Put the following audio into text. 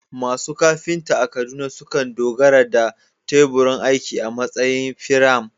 Masu kafinta a Kaduna sukan dogara da teburin aiki a matsayin firam